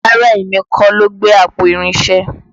Rárá èmi kọ́ ló gbé àpò irinṣẹ́